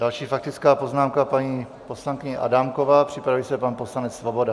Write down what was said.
Další faktická poznámka paní poslankyně Adámková, připraví se pan poslanec Svoboda.